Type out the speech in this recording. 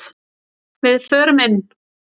Við förum inn!